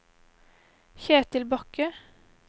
Kjetil Bakke